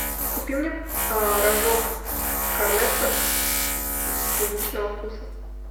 купи мне рожок корнетто клубничного вкуса